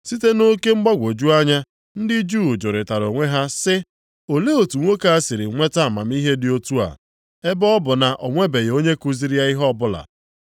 Site nʼoke mgbagwoju anya, ndị Juu jụrịtara onwe ha sị, “Olee otu nwoke a sịrị nweta amamihe dị otu a ebe ọ bụ na o nwebeghị onye kuziri ya ihe ọbụla?”